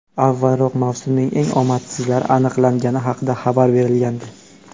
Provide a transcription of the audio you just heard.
Avvalroq mavsumning eng omadsizlari aniqlangani haqida xabar berilgandi.